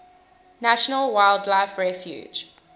national wildlife refuge